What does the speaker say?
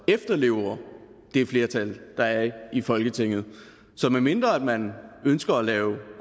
efterlever det flertal der er i folketinget så medmindre man ønsker at lave